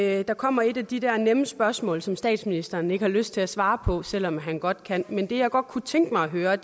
at der kommer et af de der nemme spørgsmål som statsministeren ikke har lyst til at svare på selv om han godt kan men det jeg godt kunne tænke mig at høre